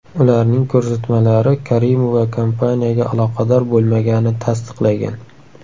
Ularning ko‘rsatmalari Karimova kompaniyaga aloqador bo‘lmaganini tasdiqlagan.